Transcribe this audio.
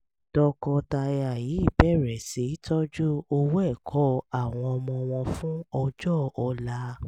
tọkọtaya yìí bẹ̀rẹ̀ sí í tọ́jú owó ẹ̀kọ́ àwọn ọmọ wọn fún ọjọ́ ọ̀la